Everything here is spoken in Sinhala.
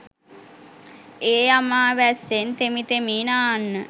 ඒ අමා වැස්සෙන් තෙමි තෙමි නාන්න